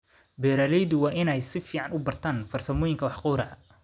Beeraleydu waa in ay si fiican u bartaan farsamooyinka wax gowraca.